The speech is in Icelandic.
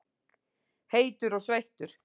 Heitur og sveittur.